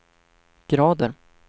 grader